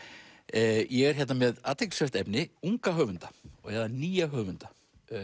ég er hérna með athyglisvert efni unga höfunda eða nýja höfunda